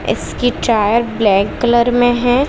इसकी tyre black colour में है।